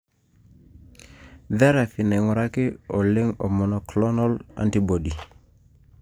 therapy nainguraki oleng o monoclonal antibody(rituximab)